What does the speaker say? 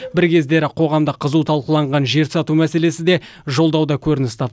бір кездері қоғамда қызу талқыланған жер сату мәселесі де жолдауда көрініс тап